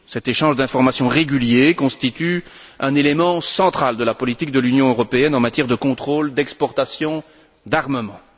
Cet échange d'informations régulier constitue un élément central de la politique de l'Union européenne en matière de contrôle des exportations d'armements.